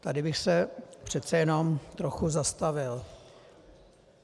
Tady bych se přece jenom trochu zastavil.